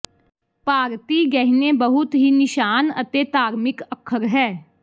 ਭਾਰਤੀ ਗਹਿਣੇ ਬਹੁਤ ਹੀ ਨਿਸ਼ਾਨ ਅਤੇ ਧਾਰਮਿਕ ਅੱਖਰ ਹੈ